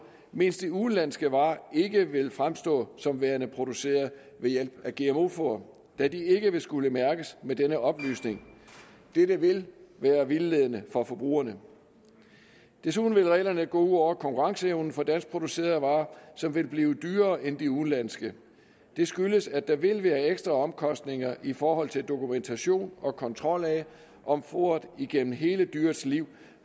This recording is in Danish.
mens de udenlandske varer ikke vil fremstå som værende produceret ved hjælp af gmo foder da de ikke ville skulle mærkes med denne oplysning dette vil være vildledende for forbrugerne desuden vil reglerne gå ud over konkurrenceevnen for danskproducerede varer som vil blive dyrere end de udenlandske det skyldes at der vil være ekstra omkostninger i forhold til dokumentation og kontrol af om foderet igennem hele dyrets liv